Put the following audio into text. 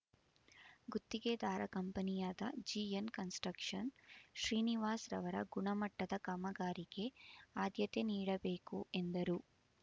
ಗುತ್ತಿಗೆದಾರ ಕಂಪನಿಯಾದ ಜಿಎನ್ಕನ್ಸ್‌ಸ್ಟ್ರಕ್ಷನ್ ಶ್ರೀನಿವಾಸ್ ರವರು ಗುಣಮಟ್ಟದ ಕಾಮಗಾರಿಗೆ ಆದ್ಯತೆ ನೀಡಬೇಕು ಎಂದರು